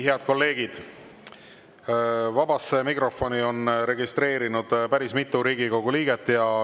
Head kolleegid, vabasse mikrofoni on end registreerinud päris mitu Riigikogu liiget.